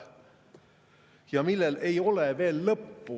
Aga sellel ei ole veel lõppu.